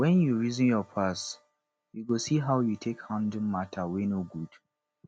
wen yu reason yur past yu go see how yu take handle mata wey no good